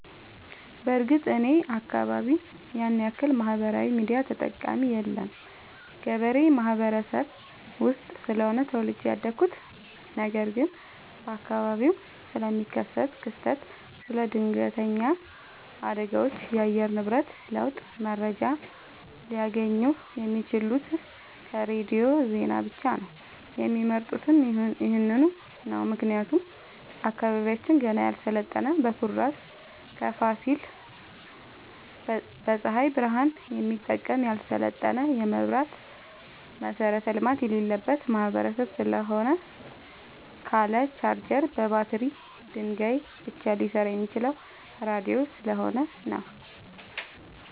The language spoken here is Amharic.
በርግጥ እኔ አካባቢ ያንያክል ማህበራዊ ሚዲያ ተጠቀሚ የለም ገበሬ ማህበረሰብ ውስጥ ስለሆነ ተወልጄ ያደኩት ነገር ግን በአካባቢው ስለሚከሰት ክስተት ስለ ድነገተኛ አደጋዎች የአየር ንብረት ለውጥ መረጃ ሊያገኙ የሚችሉት ከሬዲዮ ዜና ብቻ ነው የሚመርጡትም ይህንኑ ነው ምክንያቱም አካባቢያችን ገና ያልሰለጠነ በኩራዝ ከፋሲል በፀሀይ ብረሃን የሚጠቀም ያልሰለጠነ የመብራት መሠረተ ልማት የሌለበት ማህበረሰብ ስለሆነ ካለ ቻርጀር በባትሪ ድንጋይ ብቻ ሊሰራ የሚችለው ራዲዮ ስለሆነ ነው።